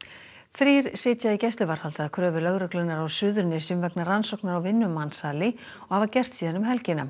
þrír sitja í gæsluvarðhaldi að kröfu lögreglunnar á Suðurnesjum vegna rannsóknar á vinnumansali og hafa gert síðan um helgina